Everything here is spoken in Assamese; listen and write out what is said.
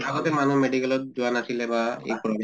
আগতে মানুহ medical ত যোৱা নাছিলে বা এ কৰা